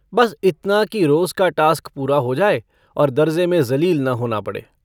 बस इतना कि रोज़ का टास्क पूरा हो जाए और दर्जे़ में ज़लील न होना पड़े।